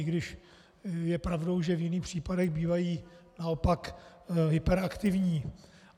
I když je pravdou, že v jiných případech bývají naopak hyperaktivní.